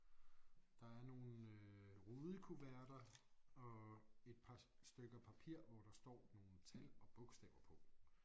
Der er nogle øh rudekuverter og et par stykker papir hvor der står nogle tal og bogstaver på